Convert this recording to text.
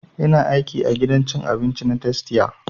Ina aiki a gidan cin abinci na tastia